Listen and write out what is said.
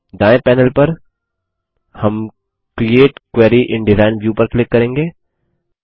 दायें पैनेल पर हम create query in design view पर क्लिक करेंगे